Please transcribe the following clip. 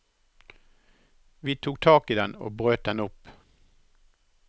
Vi tok tak i den og brøt den opp.